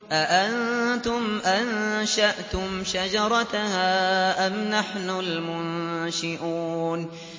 أَأَنتُمْ أَنشَأْتُمْ شَجَرَتَهَا أَمْ نَحْنُ الْمُنشِئُونَ